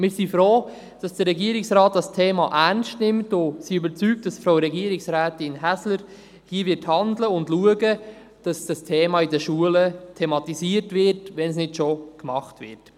Wir sind froh, dass der Regierungsrat dieses Thema ernst nimmt und sind überzeugt, dass Frau Regierungsrätin Häsler hier handeln wird und schauen wird, dass das Thema in den Schulen thematisiert wird, wenn es denn nicht bereits gemacht wird.